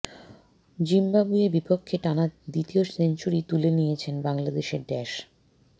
জিম্বাবুয়ের বিপক্ষে টানা দ্বিতীয় সেঞ্চুরি তুলে নিয়েছেন বাংলাদেশের ড্যাশ